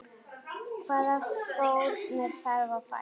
Hvaða fórnir þarf að færa?